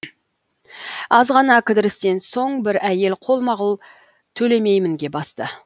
аз ғана кідірістен соң бір әйел қолма қол төлемеймінге басты